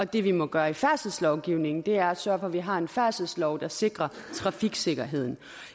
det vi må gøre i færdselslovgivningen er at sørge for at vi har en færdselslov der sikrer trafiksikkerheden